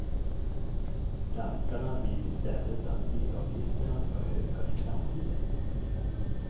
Danskarna vill i stället att bilavgifterna ska öka i framtiden.